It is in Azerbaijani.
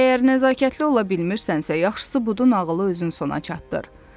Əgər nəzakətli ola bilmirsənsə, yaxşısı budur nağılı özün sona çatdır.